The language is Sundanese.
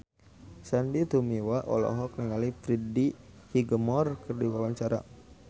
Sandy Tumiwa olohok ningali Freddie Highmore keur diwawancara